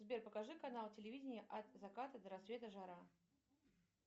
сбер покажи канал телевидения от заката до рассвета жара